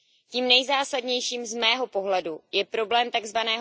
Tím nejzásadnějším z mého pohledu je problém tzv.